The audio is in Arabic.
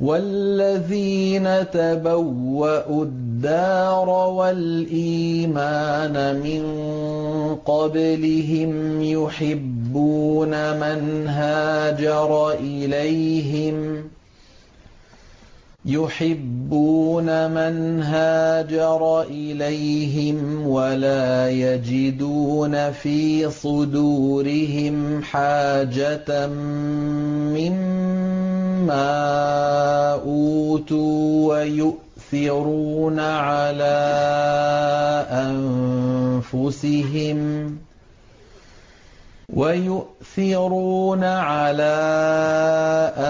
وَالَّذِينَ تَبَوَّءُوا الدَّارَ وَالْإِيمَانَ مِن قَبْلِهِمْ يُحِبُّونَ مَنْ هَاجَرَ إِلَيْهِمْ وَلَا يَجِدُونَ فِي صُدُورِهِمْ حَاجَةً مِّمَّا أُوتُوا وَيُؤْثِرُونَ عَلَىٰ